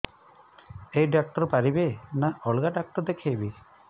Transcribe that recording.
ଏଇ ଡ଼ାକ୍ତର ପାରିବେ ନା ଅଲଗା ଡ଼ାକ୍ତର ଦେଖେଇବି